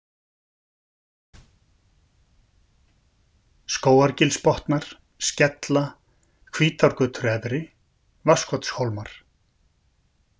Skógargilsbotnar, Skella, Hvítárgötur efri, Vatnskotshólmar